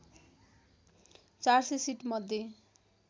४०० seat मध्ये